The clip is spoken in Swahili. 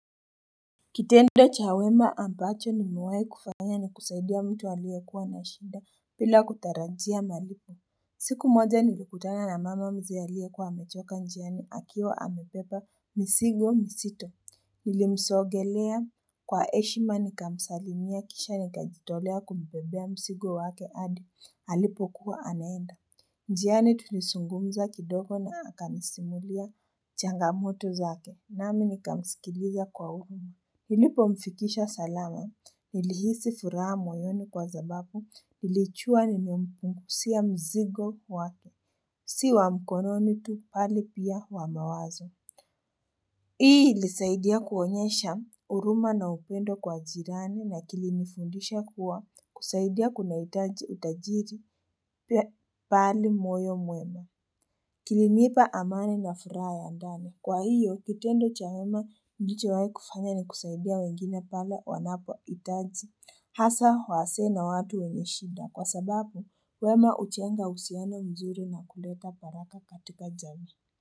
Kitendo cha wema ambacho nimewai kufanya ni kusaidia mtu aliekuwa na shinda bila kutarajia malipo siku moja nilikutana na mama mzee aliekuwa hamechoka njiani akiwa amepepa misigo misito Hulimsogelea kwa heshima nikamsalimia kisha nikajitolea kumbebea msigo wake hadi halipo kuwa anaenda njiani tunisungumza kidogo na hakanisimulia changamoto zake nami nikamsikilia kwa uguni Ilipo mfikisha salama ilihisi furaha moyoni kwa sababu ilichua ni mpunguzia mzigo wato, si wa mkononi tu bali pia wa mawazo. Hii ilisaidia kuonyesha huruma na upendo kwa jirani na kilinifundisha kuwa kusaidia kuna utajiri pali moyo mwema. Kilimipa amani na furaha ya ndani. Kwa hiyo, kitendo cha wema nichowahi kufanya ni kuzaidia wengine pale wanapo itaji. Hasa, wazee na watu wenye shida. Kwa sababu, wema uchenga husiana mzuri na kuleta baraka katika jamii.